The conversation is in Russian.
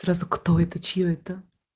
сразу кто это чьё это